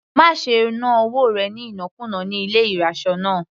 Má ṣe ná owó rẹ̀ ní ìnákùná ní ilé ìraṣọ náà.